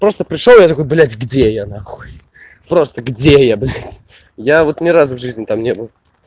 просто пришёл я такой блядь где я на хуй просто где я блядь я просто ни разу в жизни там не был